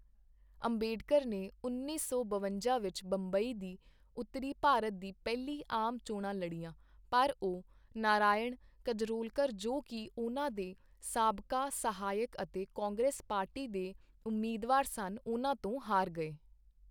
ਅੰਬੇਡਕਰ ਨੇ ਉੱਨੀ ਸੌ ਬਵੰਜਾ ਵਿੱਚ ਬੰਬਈ ਦੀ ਉੱਤਰੀ ਭਾਰਤ ਦੀ ਪਹਿਲੀ ਆਮ ਚੋਣਾਂ ਲੜੀਆਂ ਪਰ ਉਹ ਨਾਰਾਇਣ ਕਜਰੌਲਕਰ, ਜੋ ਕਿ ਉਹਨਾਂ ਦੇ ਸਾਬਕਾ ਸਹਾਇਕ ਅਤੇ ਕਾਂਗਰਸ ਪਾਰਟੀ ਦੇ ਉਮੀਦਵਾਰ ਸਨ ਉਹਨਾਂ ਤੋਂ ਹਾਰ ਗਏ।